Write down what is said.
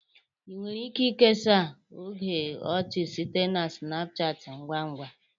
Ị nwere ike kesaa oge ọchị site na snapchat ngwa ngwa